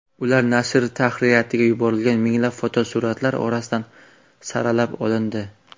Ular nashr tahririyatiga yuborilgan minglab fotosuratlar orasidan saralab olindi.